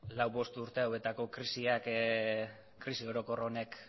lauzpabost urte hauetako krisi orokor honek